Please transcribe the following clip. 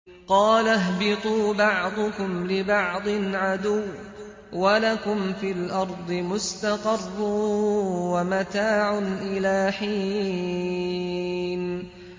قَالَ اهْبِطُوا بَعْضُكُمْ لِبَعْضٍ عَدُوٌّ ۖ وَلَكُمْ فِي الْأَرْضِ مُسْتَقَرٌّ وَمَتَاعٌ إِلَىٰ حِينٍ